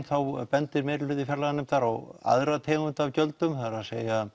þá bendir meiri hluti fjárlaganefndar á aðra tegund af gjöldum það er